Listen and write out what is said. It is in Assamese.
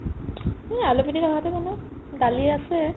এই আলু পিটিকা ভাতহে বনাম দালি আছে